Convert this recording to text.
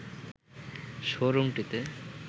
শোরুমটিতে